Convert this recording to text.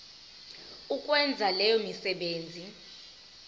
ukwenza leyo misebenzi